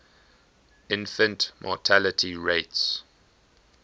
infant mortality rates